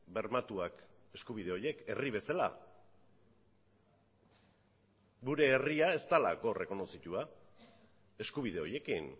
bermatuak eskubide horiek herri bezala gure herria ez delako errekonozitua eskubide horiekin